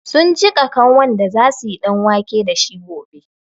Sun jiƙa kanwan da za su yi ɗanwake da shi gobe.